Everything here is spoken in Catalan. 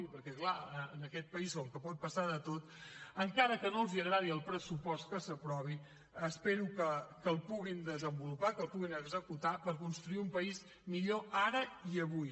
perquè clar en aquest país com que pot passar de tot encara que no els agradi el pressupost que s’aprovi espero que el puguin desenvolupar que el puguin executar per construir un país millor ara i avui